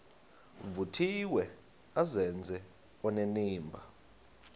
vuthiwe azenze onenimba